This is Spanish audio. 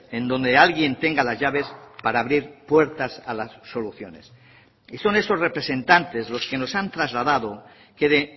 en donde alguien tenga las llaves para abrir puertas a las soluciones y son esos representantes los que nos han trasladado que de